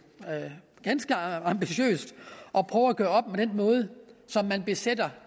er ganske ambitiøst at prøve at gøre op med den måde som man besætter